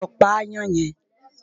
Lọ pa aáyán yẹn!